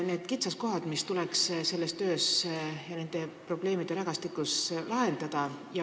Te tõite siin välja selle töö ja probleemirägastiku kitsaskohad, mis tuleks kaotada.